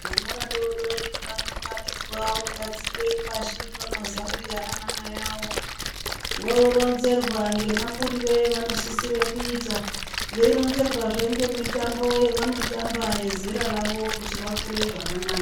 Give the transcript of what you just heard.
Vana vadodori vanounganidzwa vogadzikwe pashi oamazambiya ana mai awo voronzerwa ngemakurire avanosisire kuita veironzerwazve ngemitombo yevanotamba yezera ravo kuti vakure zvakanaka.